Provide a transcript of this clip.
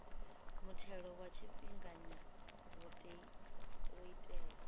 muthelo wa tshifhinganya wo itelwa